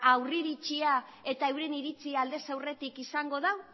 aurreiritzia eta euren iritzia aldez aurretik izango du